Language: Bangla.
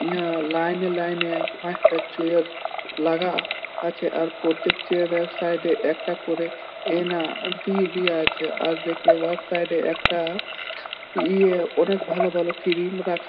ইহা লাইন -এ লাইন -এ পাঁচটা চেয়ার লাগা আছে ।আর প্রত্যেক চেয়ার -এর সাইড একটা করে এনা দিয়ে দেওয়া আছে আর দেখে উহার সাইড -এ একটা ইয়ে অনেক ভালো ভালো ক্রিম রাখা ।